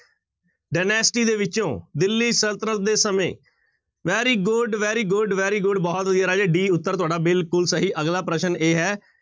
Dynasty ਦੇ ਵਿੱਚੋਂ ਦਿੱਲੀ ਸਲਤਨਤ ਦੇ ਸਮੇਂ very good, very good, very good ਬਹੁਤ ਵਧੀਆ ਰਾਜੇ d ਉੱਤਰ ਤੁਹਾਡਾ ਬਿਲਕੁਲ ਸਹੀ, ਅਗਲਾ ਪ੍ਰਸ਼ਨ ਇਹ ਹੈ,